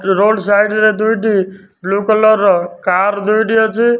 Road side ରେ ଦୁଇଟି blue colour ର କାର୍ ଦୁଇଟି ଅଛି।